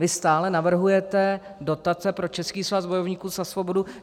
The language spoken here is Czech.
Vy stále navrhujete dotace pro Český svaz bojovníků za svobodu.